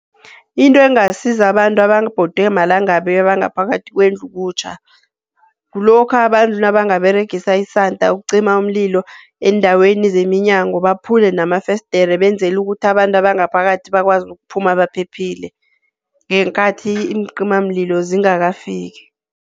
Into engasiza abantu ababhodwe malanga abangaphakathi kwendlu kutjha, kulokha abantu nabangaberegisa isanda ukucima umlilo endaweni zeminyango baphule namafesidiri benzela ukuthi abantu abangaphakathi bakwazi ukuphuma baphephile, ngeenkathi iincimamlilo zingakafiki.